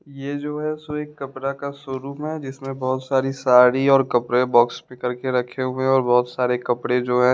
ये जो है शो कपड़ा का शोरूम है जिसमें बहोत सारी साड़ी और कपड़े बॉक्स भी कर के रखे हुए और बहोत सारे कपड़े जो है--